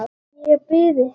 Ég bið ykkur!